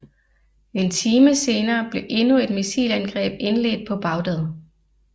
En time senere blev endnu et missilangreb indledt på Baghdad